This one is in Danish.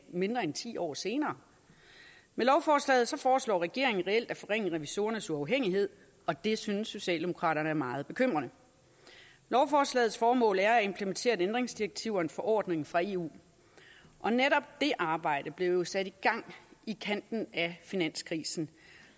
mindre end ti år senere med lovforslaget foreslår regeringen reelt at forringe revisorernes uafhængighed og det synes socialdemokraterne er meget bekymrende lovforslagets formål er at implementere et ændringsdirektiv og en forordning fra eu og netop det arbejde blev jo sat i gang i kanten af finanskrisen